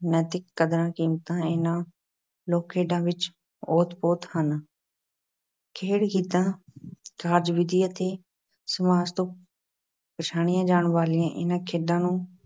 ਨੈਤਿਕ ਕਦਰਾਂ-ਕੀਮਤਾਂ ਇਹਨਾਂ ਲੋਕ-ਖੇਡਾਂ ਵਿੱਚ ਓਤ-ਪੋਤ ਹਨ। ਖੇਡ-ਗੀਤਾਂ, ਕਾਰਜ-ਵਿਧੀ ਅਤੇ ਸਮਾਜ ਤੋਂ ਪਛਾਣੀਆਂ ਜਾਣ ਵਾਲੀਆਂ ਇਹਨਾਂ ਖੇਡਾਂ ਨੂੰ